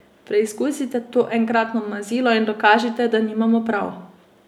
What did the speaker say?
Preizkusite to enkratno mazilo in dokažite, da nimamo prav!